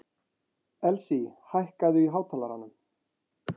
Elsí, hækkaðu í hátalaranum.